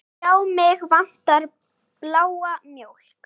Já, mig vantar bláa mjólk.